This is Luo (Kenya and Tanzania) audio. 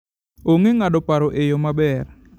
Ong'e ng'ado paro e yo maber.